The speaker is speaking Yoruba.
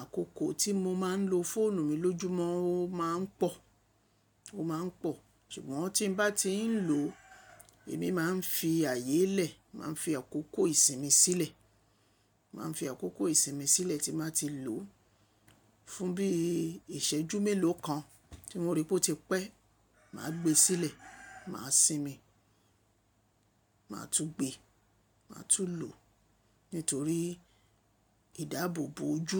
àkókò tí mo máa ń lo fóònù mi lójúmọ́ ó ma ń pọ̀, ó ma ń pọ̀. Ṣùgbọ́n tí mo bá ti ń lò ó, èmi máa ń fi àyè lẹ̀, máa ń fi àkókò ìsinmi sílẹ̀, máa ń fi àkókò ìsinmi sílẹ̀ tí máa ti lò ó. Fún bí ìṣẹ́jú mélòó kan tí mo rí pé ó ti pẹ́, mà á gbé e sílẹ̀, mà á sinmi, mà á tún gbé, mà á tún lò nítorí ìdáàbòbò ojú.